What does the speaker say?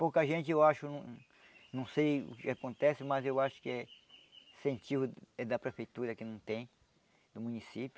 Pouca gente eu acho, não não sei o que acontece, mas eu acho que é incentivo da prefeitura que não tem, do município.